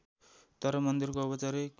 तर मन्दिरको औपचारिक